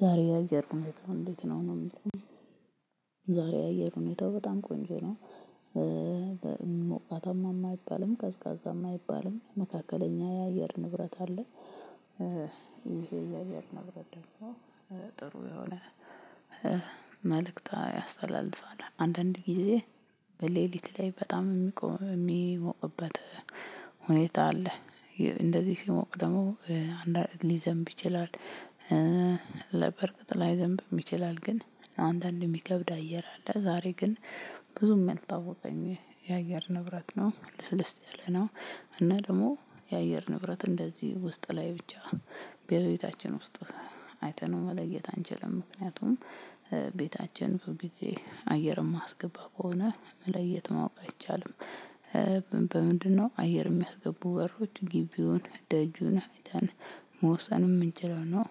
ዛሬ የአየር ሁኔታው እንዴት ነው ነው የሚለው? ዛሬ የአየር ሁኔታው በጣም ቆንጆ ነው። በሞቃታማ አይባልም ቀዛቃዛም አይባልም መካከለኛ የአየር ንብረት አለ። ይሄ የአየር ንብረት ደግሞ ጥሩ የሆነ መልእክት ያስተላልፋል አንዳንድ ጊዜ በሌሊት ላይ በጣም የሚቆም የሚሞቅበት ሁኔታ አለ እንደዚህ ሲሞቅ ደግሞ ሊዘንብ ይችላል። ለበርግጥ ላይዘንብ ይችላል ግን አንዳንድ የሚከብድ አየር አለ ዛሬ ግን ብዙም የልታወቀኝ የአየር ንብረት ነው ለስለስ ያለ ነው። እና ደግሞ የአየር ንብረት እንደዚህ ውስጥ ላይ ብቻ በቤታችን ውስጥ አይተነው መለየት አንችልም ምክንያቱም ቤታችን ሁልግዜ አየር የማስገባ ከሆነ መለየት ማወቅ አይቻልም። በምንድነው አየር የሚያስገቡ በሮች ግቢውን ደጁን አይተን መወሰን የምንችለው ነው?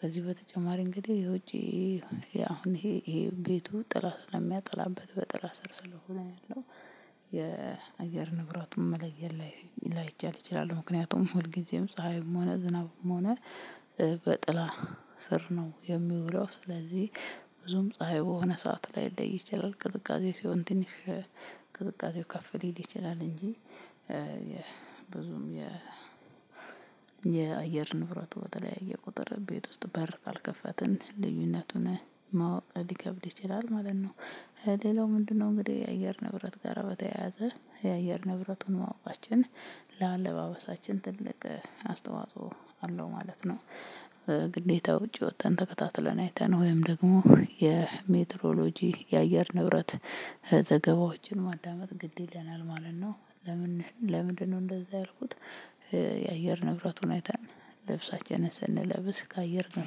ከዚህ በተጨማሪ እንግዲህ የውጪ አሁን ይሄ ቤቱ ጥላ ስለሚያጠላበት በጥላ ስር ስለሆነ ያለው የአገር ንብረቱን መለየት ላይ ላይቻል ይችላል ምክንያቱም ሁልጊዜም ፀሀይም ሆነ ዝናብም ሆነ በጥላ ስር ነው። የሚውለው ስለዚህ ብዙም ፀሀይ የሆነ ሰዓት ላይ ለይ ይችላል ቅዝቃዜ ሲሆን ትንሽ ቅዝቃዜው ከፍ ሊል ይችላል እንጂ። ብዙም የ የአየር ንብረቱ በተለያየ ቁጥር ቤት ውስጥ በር ካልከፈትን ልዩነቱን ማወቅ ሊከብድ ይችላል ማለት ነው። ሌላው ምንድነው? እንግዲህ የአየር ንብረት ጋራ በተያያዘ የአየር ንብረቱን ማወቃችን ለአለባበሳችን ትልቅ አስተዋጽኦ አለው ማለት ነው። ግዴታ ውጪ ወጥተን ተከታትለን አይተን ወይም ደግሞ የሜትሮሎጂ የአየር ንብረት ዘገባዎችን ማዳመጥ ግድ ይለናል ማለት ነው። ለምን ለምንድነው እንደዛ ያልኩት? የአየር ንብረቱን አይተን ልብሳችንን ስንለብስ ካየር ግን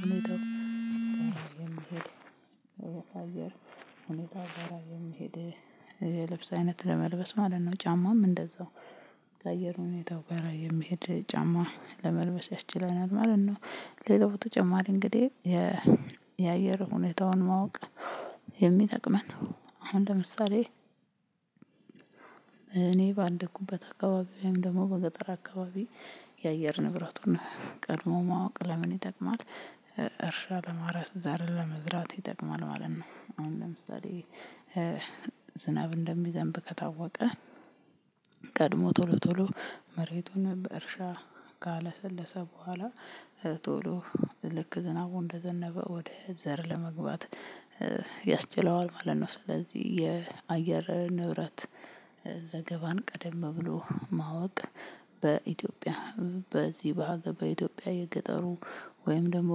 ሁኔታ የምሄድ አየር ሁኔታ ጋራ የሚሄድ የልብስ አይነት ለመልበስ ማለት ነው ጫማም እንደዛው ከአየር ሁኔታው ጋራ የሚሄድ ጫማ ለመልበስ ያስችለናል ማለት ነው። ሌላው በትተጨማሪ እንግዲህ የየአየር ሁኔታውን ማወቅ የሚጠቅመን አሁን ለምሳሌ እኔ በአደኩበት አካባቢ ወይም ደግሞ በገጠር አካባቢ የአየር ንብረቱን ቀድሞ ማወቅ ለምን ይጠቅማል? እርሻ ለማረስ ዘር ለመዝራት ይጠቅማል ማለት ነው ነው አሁን ለምሳሌ ዝናብ እንደሚዘንብ ከታወቀ ቀድሞ ቶሎ ቶሎ መሬቱን በእርሻ ካለሰለሰ በኋላ ቶሎ ልክ ዝናቡ እንደዘነበ ወደ ዘር ለመግባት ያስችለዋል ማለት ነው። ስለዚህ የአየር ንብረት ቀደም ብሎ ማወቅ በኢትዮጵያ በዚህ በአገባዊ ኢትዮጵያ የገጠሩ ወይም ደግሞ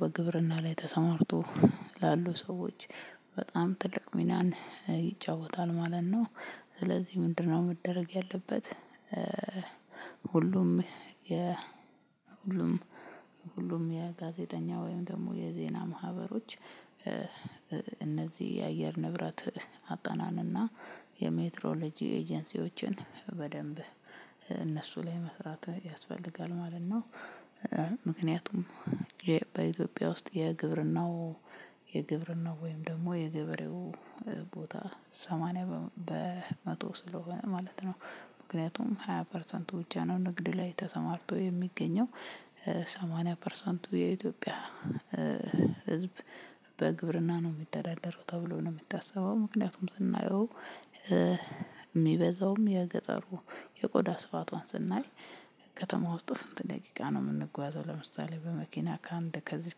በግብርና ላይ ተሰማርቶ ላሉ ሰዎች በጣም ትልቅ ሚናን ይጫወታል ማለት ነው። ስለዚህ ምንድነው? መደረግ ያለበት ሁሉም የ ሁሉም ሁሉም የጋዜጠኛ ወይም ደግሞ የዜና ማህበሮች እነዚህ የአየር ንብረት አጠናንና የሜትሮሎጂ ኤጀንሲዎችን በደንብ እነሱ ላይ መስራት ያስፈልጋል ማለት ነው። ምክንያቱም በኢትዮጵያ ውስጥ የግብርናው የግብርናው ወይም ደግሞ የገበሬው ቦታ ሰማንያ በመቶ ስለሆነ ማለት ነው። ምክንያቱም ሃያ ፐርሰንቱ ብቻ ነው ንግድ ላይ ተሰማርቶ የሚገኘው ሰማኒያ ፐርሰንቱ የኢትዮጵያ ህዝብ በግብርና ነው የሚተዳደረው ተብሎ ነው የሚታስበው ምክንያቱም ስናየው የሚበዛውም የገጠሩ የቆዳ ስፋቷን ስናይ ከተማ ውስጥ ስንት ደቂቃ ነው የምንጓዘው ለምሳሌ በመኪና ከአንድ ከዚህ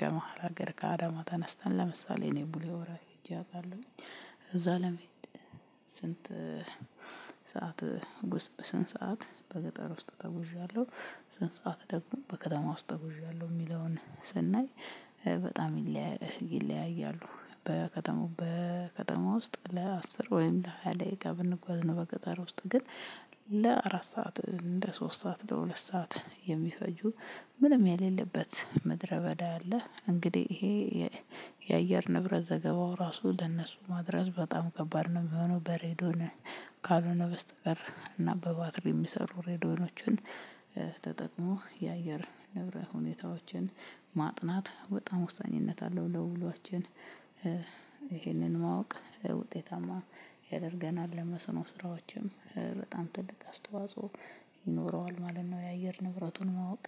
ከመሃል ሀገር ከአዳማ ተነስተን ለምሳሌ እኔ ቡሌ ሆራ ሄጄ አውቃለሁኝ። እዛ ለመሄድ ስንት ሰዓት ስንት ሰዓት በገጠር ውስጥ ተጉዣለሁ ስንት ሰዓት ደግሞ በከተማው ተጉዣለሁ የሚለውን ስናይ በጣም ይለያያሉ። በከተማው በከተማው ውስጥ ለአስር ወይም ለሃያ ደቂቃ ብንጓዝ ነው በገጠር ውስጥ ግን ለአራት ሰዓት እንደ ሶስት ሰዓት ለሁለት ሰዓት የሚፈጁ ምንም የሌለበት ምድረ በዳ አለ። እንግዲህ ይሄ የአየር ንብረት ዘገባው ራሱ ለእነሱ ማድረስ በጣም ከባድ ነው የሚሆነው በሬዲዮን ካልሆነ በስተቀር እና በባትሪ የሚሰሩ ሬዲዮኖችን የአየር ንብረ ሁኔታዎችን ማጥናት በጣም ወሳኝነት አለው ለሁሏችን። ይሄንን ማወቅ ውጤታማ ያደርገናል ለመስኖ ስራዎችም በጣም ትልቅ አስተዋጽኦ ይኖረዋል ማለት ነው። የአየር ንብረቱን ማወቅ